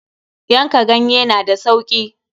Yanka ganye na da sauki.